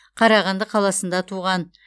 қарағанды қаласында туған